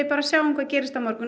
bara sjá hvað gerist á morgun